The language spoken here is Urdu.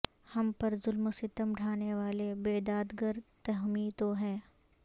ہم پر ظلم و ستم ڈھا نے والے بے دادگر تمہی تو ہو